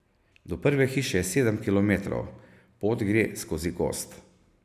Do prve hiše je sedem kilometrov, pot gre skozi gozd.